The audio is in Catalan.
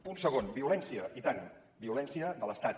punt segon violència i tant violència de l’estat